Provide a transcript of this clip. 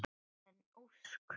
Karen Ósk.